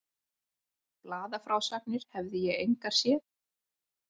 Blaðafrásagnir hefði ég engar séð.